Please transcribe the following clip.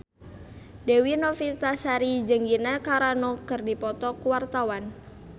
Dewi Novitasari jeung Gina Carano keur dipoto ku wartawan